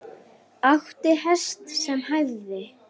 Átti hest sem hæfði.